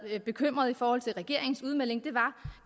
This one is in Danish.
bekymrede i forhold til regeringens udmelding var